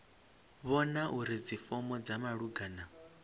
vhona uri dzifomo dza malugana